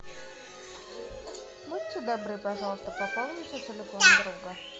будьте добры пожалуйста пополните телефон друга